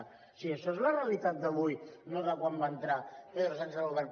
o sigui això és la realitat d’avui no de quan va entrar pedro sánchez al govern